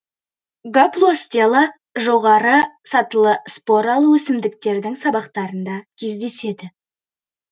гаплостела жоғарғы сатылы споралы өсімдіктердің сабақтарында кездеседі